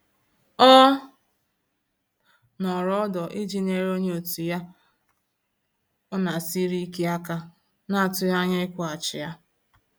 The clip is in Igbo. Ọ nọrọ ọdọ iji nyere onye òtù ya ọ na esiri ike aka na-atughi anya ikwughachi ya